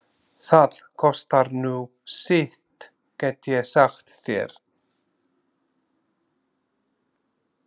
Það kostar nú sitt get ég sagt þér.